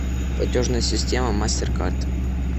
платежная система мастер кард